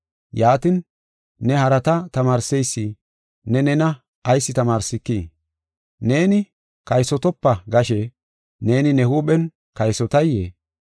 Yaatin, ne harata tamaarseysi ne nena ayis tamaarsikii? Neeni, “Kaysotopa” gashe, neeni ne huuphen kaysotayee?